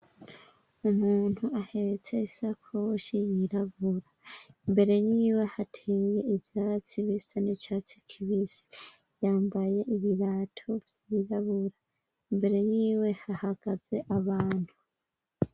Umuntu ahetse isakoshi yirabura, imbere yiwe hateye ivyatsi bisa n'icatsi kibisi yambaye ibirato vyirabura, imbere yiwe hahagaze abantu.